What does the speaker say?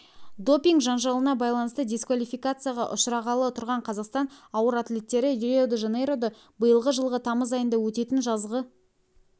допинг жанжалына байланысты дисквалификацияға ұшырағалы тұрған қазақстан ауыр атлеттері рио-де-жанейрода биылғы жылғы тамыз айында өтетін жазғы